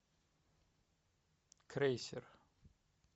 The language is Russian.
крейсер